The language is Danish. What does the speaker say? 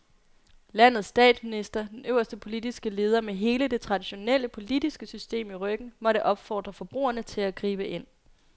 Landets statsminister, den øverste politiske leder med hele det traditionelle politiske system i ryggen, måtte opfordre forbrugerne til at gribe ind.